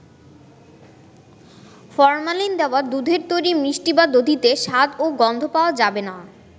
Formalin দেওয়া দুধের তৈরি মিষ্টি বা দধিতে স্বাদ ও গন্ধ পাওয়া যাবে না।